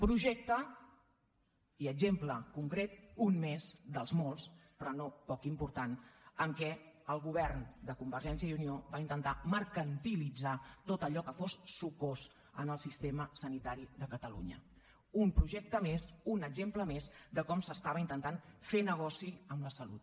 projecte i exemple concret un més del molts però no poc important en què el govern de convergència i unió va intentar mercantilitzar tot allò que fos sucós en el sistema sanitari de catalunya un projecte més un exemple més de com s’estava intentant fer negoci amb la salut